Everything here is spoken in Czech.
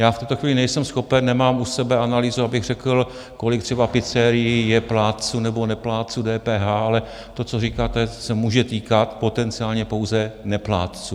Já v tuto chvíli nejsem schopen, nemám u sebe analýzu, abych řekl, kolik třeba pizzerií je plátců nebo neplátců DPH, ale to, co říkáte, se může týkat potenciálně pouze neplátců.